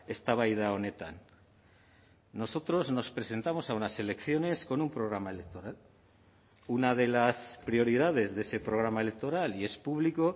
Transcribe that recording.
eztabaida honetan nosotros nos presentamos a unas elecciones con un programa electoral una de las prioridades de ese programa electoral y es público